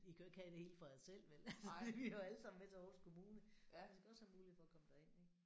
I kan jo ikke have det hele for jer selv vel altså vi hører jo alle sammen med til Aarhus kommune vi skal også have mulighed for at komme derind ik